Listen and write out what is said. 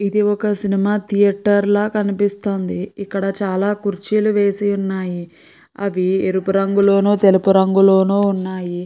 ఇది ఒక cinema theatre లాగా కనిపిస్తుంది ఇక్క్కడ చాల కురుచిల్లు వేసి వున్నాయ్ అవి ఎరుపు రంగు లోను తెల్లుపు రంగు లోను వున్నాయ్.